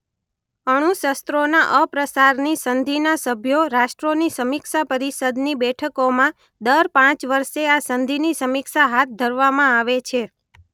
અણુશસ્રોના અપ્રસારની સંધિના સભ્યો રાષ્ટ્રોની સમીક્ષા પરિષદની બેઠકોમાં દર પાંચ વર્ષે આ સંધિની સમીક્ષા હાથ ધરવામાં આવે છે.